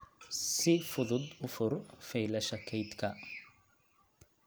Si fudud u fur faylasha kaydka